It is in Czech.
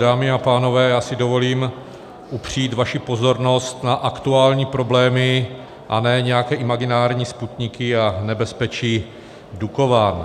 Dámy a pánové, já si dovolím upřít vaši pozornost na aktuální problémy, a ne nějaké imaginární Sputniky a nebezpečí Dukovan.